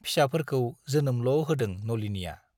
फिसाफोरखौ जोनोमल' होदों नलिनीया।